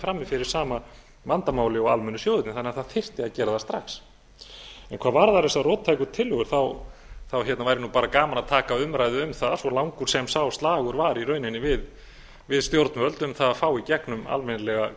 frammi fyrir sama vandamáli og almennu sjóðirnir þannig að það þyrfti að gera það strax hvað varðar þessar róttæku tillögur væri bara gaman að taka umræðu um það svo langur sem sá slagur var í rauninni við stjórnvöld um það að fá í gegnum almennilega